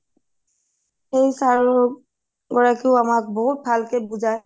সেই sir গৰাকীয়ো বহুত ভালকে বুজাই